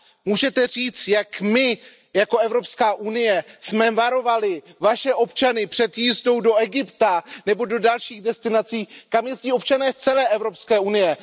Můžete říct, jak my jako Evropská unie jsme varovali Vaše občany před jízdou do Egypta nebo do dalších destinací, kam jezdí občané z celé Evropské unie?